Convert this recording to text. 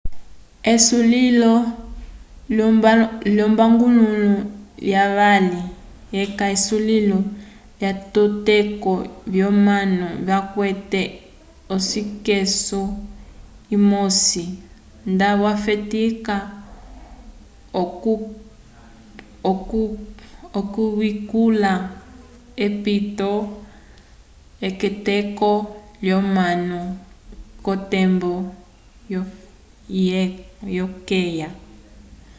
esulilo lyombangulo lyavali yeca esulilo lyatokeko lyomanu vakwete osekisu imosi nda yafetika okuyikula apito k'etokeko lyomanu k'otembo ikeya